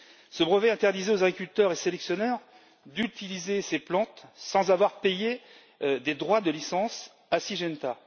Ce brevet interdisait aux agriculteurs et aux sélectionneurs d'utiliser ces plantes sans avoir payé des droits de licence à Syngenta.